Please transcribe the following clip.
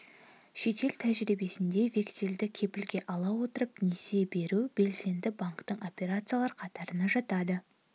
шетел тәжірибесінде вексельді кепілге ала отырып несие беру белсенді банктік операциялар қатарына жатады